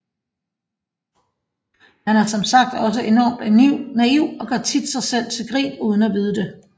Han er som sagt også enormt naiv og gør tit sig selv til grin uden at vide det